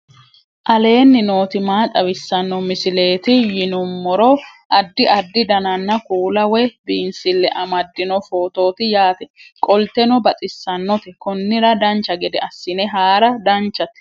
aleenni nooti maa xawisanno misileeti yinummoro addi addi dananna kuula woy biinsille amaddino footooti yaate qoltenno baxissannote konnira dancha gede assine haara danchate